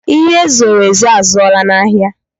Ihe e zoro ezo a zụọla n'ahịa.